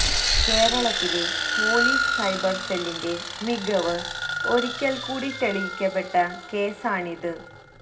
കേരളത്തിലെ police cyber സെല്ലിന്റെ മികവ് ഒരിക്കല് കൂടി തെളിയിക്കപ്പെട്ട കേസാണിത്